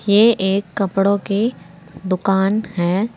ये एक कपड़ों के दुकान है।